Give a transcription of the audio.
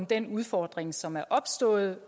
den udfordring som er opstået